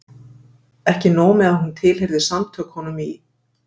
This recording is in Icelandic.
Ekki nóg með að hún tilheyrði Samtökunum í